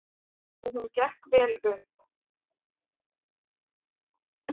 Og hún gekk vel upp.